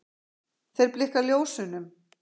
Þeir blikka ljósunum